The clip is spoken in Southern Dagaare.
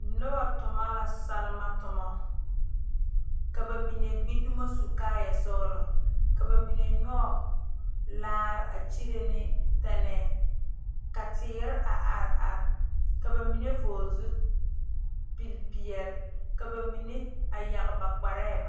noba tuna la selma tuma ka bamine gbe domo su kaaya sɔglɔ ka bamine zeŋ laare a kyire ne teŋee ka teere a are are ka bamine vɔgle zupele peɛle ka bamine a yaŋ ba kparre baare.